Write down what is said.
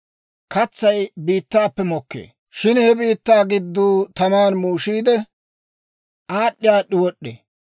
Katsay biittaappe mokkee; shin he biittaa gidduu taman muushiide, aad'd'i aad'd'i wod'd'ee.